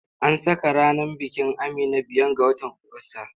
An saka ranar bikin Amina biyan ga watan Ogusta.